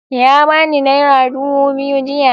Ya bani naira dubu biyu jiya.